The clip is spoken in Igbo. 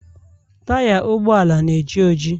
taya ụgbọala na-eji oji